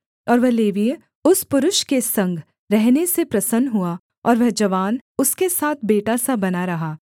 और वह लेवीय उस पुरुष के संग रहने से प्रसन्न हुआ और वह जवान उसके साथ बेटा सा बना रहा